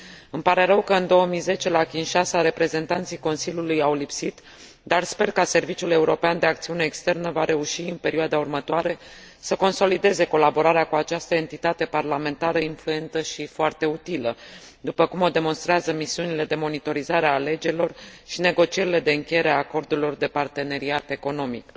Îmi pare rău că, în 2010 la Kinshasa, reprezentanții Consiliului au lipsit, dar sper că Serviciul European de Acțiune Externă va reuși în perioada următoare să consolideze colaborarea cu această entitate parlamentară influentă și foarte utilă, după cum o demonstrează misiunile de monitorizare a alegerilor și negocierile de încheiere a acordurilor de parteneriat economic.